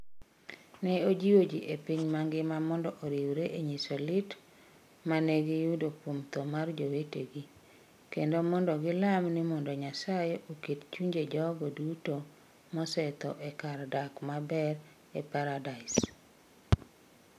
Ne ojiwo ji e piny mangima mondo oriwre e nyiso lit ma ne giyudo kuom tho mar jowetegi, kendo mondo gilam ni mondo Nyasaye oket chunje jogo duto mosetho e kar dak maber e Paradis.